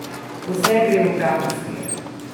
Vse gre v pravo smer.